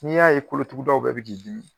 N'i y'a ye kolotugudaw bɛ k'i dimi